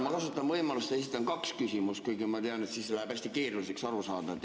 Ma kasutan võimalust ja esitan kaks küsimust, kuigi ma tean, et siis läheb arusaamine hästi keeruliseks.